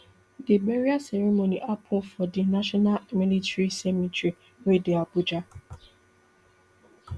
di burial ceremony happun for di national military cemetery wey dey abuja